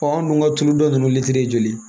anw dun ka tulu dɔ ninnu joli